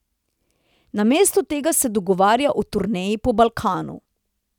Namesto tega se dogovarja o turneji po Balkanu.